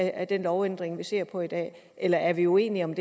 af den lovændring vi ser på i dag eller er vi uenige om